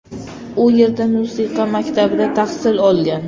U yerda musiqa maktabida tahsil olgan.